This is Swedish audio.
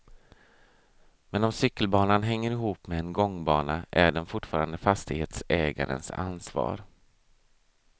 Men om cykelbanan hänger ihop med en gångbana är den fortfarande fastighetsägarens ansvar.